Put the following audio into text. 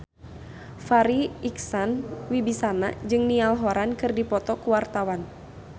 Farri Icksan Wibisana jeung Niall Horran keur dipoto ku wartawan